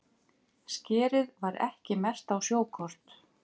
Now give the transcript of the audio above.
Skerið var ekki merkt á sjókort